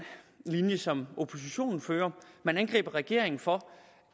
linje som oppositionen fører den angriber regeringen for